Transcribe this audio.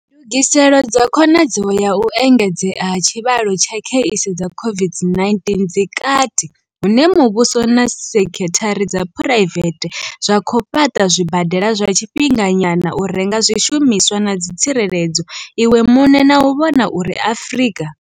NDUGISELO DZA KHONADZEO ya u engedzea ha tshivhalo tsha kheisi dza COVID-19 dzi kati hune muvhuso na sekithara dza phuraivethe zwa khou fhaṱa zwibadela zwa tshifhinganyana, u renga zwishumiswa zwa u ḓitsireledza iwe muṋe na u vhona uri Afrika.